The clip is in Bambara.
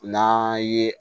N'an ye